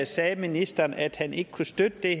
sagde ministeren at han ikke kunne støtte det